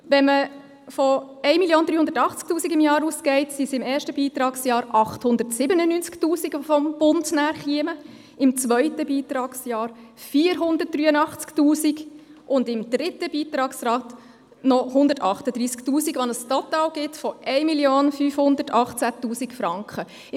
Wenn man von 1 380 000 Franken im Jahr ausgeht, sind es im ersten Beitragsjahr 897 000 Franken, die vom Bund kämen, im zweiten Beitragsjahr 483 000 Franken, und im dritten Beitragsjahr noch 138 000 Franken, was ein Total von 1 518 000 Franken ergibt.